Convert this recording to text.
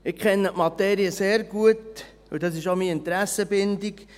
Ich kenne die Materie sehr gut, und dies ist auch meine Interessenbindung: